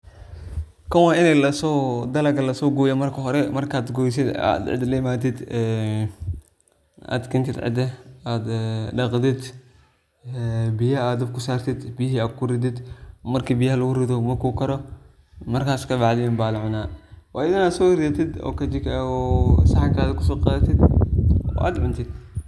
Kan wa inii dalaga lasogoyo marka hore markad goysid oo ad cida laimatid ad daqdid biyaha ad dabka usartid biyihi ad kuridid marka ad biyaha kuridid uu karo markas kabaacdi aya lacuna waina soridatid oo saxanka soqadatid oo ad cuntid.